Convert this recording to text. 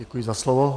Děkuji za slovo.